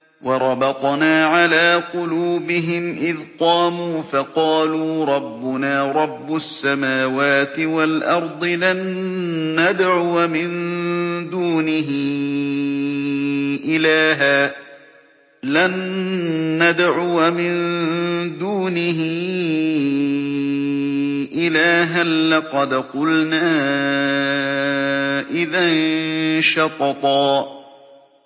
وَرَبَطْنَا عَلَىٰ قُلُوبِهِمْ إِذْ قَامُوا فَقَالُوا رَبُّنَا رَبُّ السَّمَاوَاتِ وَالْأَرْضِ لَن نَّدْعُوَ مِن دُونِهِ إِلَٰهًا ۖ لَّقَدْ قُلْنَا إِذًا شَطَطًا